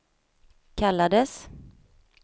kallades